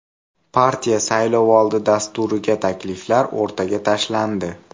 Partiya saylovoldi dasturiga takliflar o‘rtaga tashlandi.